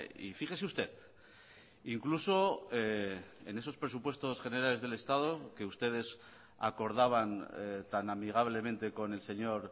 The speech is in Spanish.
y fíjese usted incluso en esos presupuestos generales del estado que ustedes acordaban tan amigablemente con el señor